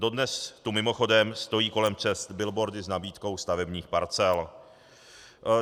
Dodnes tu mimochodem stojí kolem cest billboardy s nabídkou stavebních parcel.